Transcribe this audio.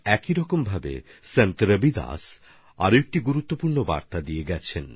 এভাবেই সন্ত রবিদাসজিও আরেক গুরুত্বপূর্ণ বার্তা দিয়েছেন